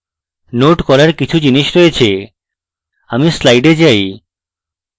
note করার কিছু জিনিস আছে আমি slides যাই